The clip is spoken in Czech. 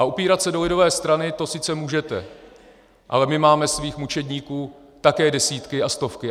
A opírat se do lidové strany, to sice můžete, ale my máme svých mučedníků také desítky a stovky.